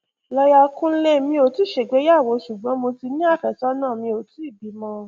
lọyà kúnlemí ò tí ì gbéyàwó ṣùgbọn mo ti ní àfẹsọnà mi ò tì í bímọ